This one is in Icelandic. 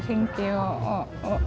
hringi og